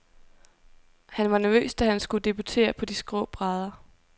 Han var nervøs, da han skulle debutere på de skrå brædder.